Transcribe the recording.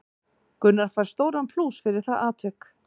Gunnar fær stóran plús fyrir það atvik.